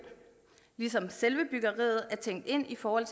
ligesom selve byggeriet er tænkt ind i forhold